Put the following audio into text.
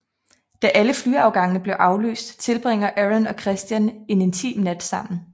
Da alle flyafgangene bliver aflyst tilbringer Aaron og Christian en intim nat sammen